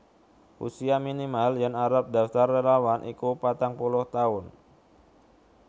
Usia minimal yen arep ndaftar relawan iku patang puluh taun